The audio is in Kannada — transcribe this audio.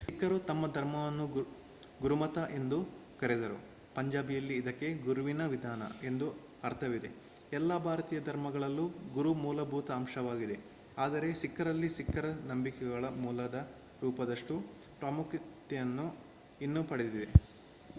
ಸಿಖ್ಖರು ತಮ್ಮ ಧರ್ವಮನ್ನು ಗುರುಮತ ಎಂದು ಕರೆದರು ಪಂಜಾಬಿಯಲ್ಲಿ ಇದಕ್ಕೆ ಗುರುವಿನ ವಿಧಾನ ಎಂದು ಅರ್ಥವಿದೆ ಎಲ್ಲ ಭಾರತೀಯ ಧರ್ಮಗಳಲ್ಲೂ ಗುರು ಮೂಲಭೂತ ಅಂಶವಾಗಿದೆ ಆದರೆ ಸಿಖ್ಖರಲ್ಲಿ ಸಿಖ್ಖರ ನಂಬಿಕೆಗಳ ಮೂಲದ ರೂಪದಷ್ಟು ಪ್ರಾಮುಖ್ಯತೆಯನ್ನು ಇದು ಪಡೆದಿದೆ